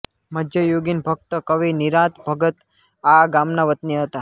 મધ્યયુગીન ભક્ત કવિ નિરાંત ભગત આ ગામના વતની હતા